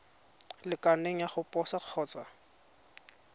lekaneng ya go posa kgotsa